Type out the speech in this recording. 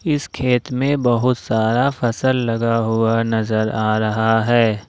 इस खेत मे बहुत सारा फसल लगा हुआ नजर आ रहा है।